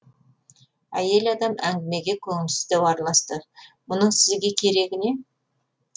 әйел адам әңгімеге көңілсіздеу араласты мұның сізге керегі не